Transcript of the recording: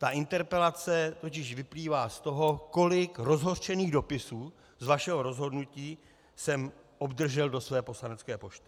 Ta interpelace totiž vyplývá z toho, kolik rozhořčených dopisů z vašeho rozhodnutí jsem obdržel do své poslanecké pošty.